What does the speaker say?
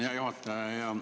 Hea juhataja!